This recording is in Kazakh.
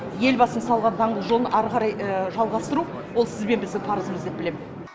елбасының салған даңғыл жолын ары қарай жалғастыру ол сіз бен біздің парымыз деп білемін